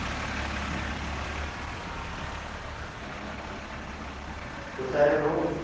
कसा आहे रे भाऊ